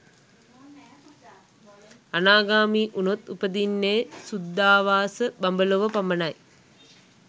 අනාගාමී වුණොත් උපදින්නේ සුද්ධාවාස බඹලොව පමණයි.